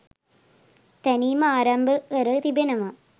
තැනීම ආරම්භ කර තිබෙනවා.